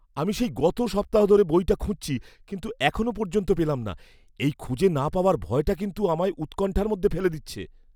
আমি সেই গত সপ্তাহ ধরে বইটা খুঁজছি কিন্তু এখনও পর্যন্ত পেলাম না। এই খুঁজে না পাওয়ার ভয়টা কিন্তু আমায় উৎকণ্ঠার মধ্যে ফেলে দিচ্ছে!